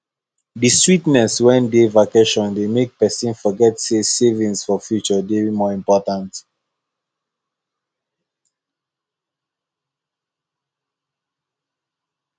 the sweetness wey dey vacation dey make person forget say savings for future dey more important